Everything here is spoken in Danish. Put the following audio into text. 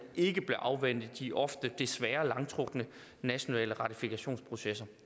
ikke bør afvente de ofte desværre langtrukne nationale ratifikationsprocesser